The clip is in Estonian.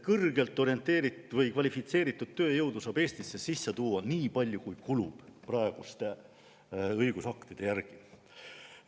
Kõrgelt kvalifitseeritud tööjõudu saab Eestisse praeguste õigusaktide järgi sisse tuua nii palju, kui kulub.